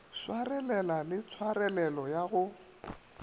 swarelela le tshwarelelo ya go